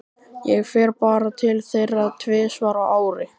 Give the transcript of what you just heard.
Ég fer bara til þeirra tvisvar á ári.